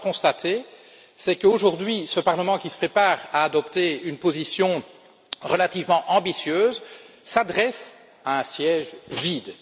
Et que dois je constater? Qu'aujourd'hui, ce Parlement, qui se prépare à adopter une position relativement ambitieuse, s'adresse à un siège vide.